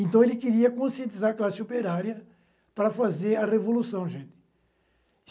Então, ele queria conscientizar a classe operária para fazer a revolução, gente.